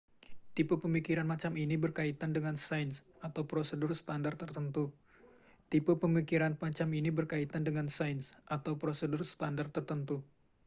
tipe pemikiran macam ini berkaitan dengan sains atau prosedur standar tertentu